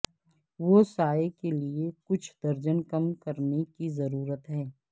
وہ سایہ کے لئے کچھ درجن کم کرنے کی ضرورت ہے